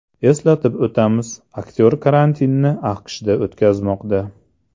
Eslatib o‘tamiz, aktyor karantinni AQShda o‘tkazmoqda.